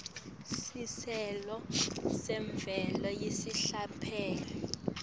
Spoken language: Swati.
sicelo semvumo yesikhashane